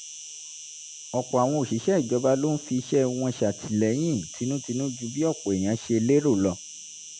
ọ̀pọ̀ àwọn òṣìṣẹ́ ìjọba ló ń fi iṣẹ́ wọn ṣàtìlẹyìn tinútinú ju bí ọ̀pọ̀ èèyàn ṣe lérò lọ